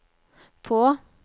på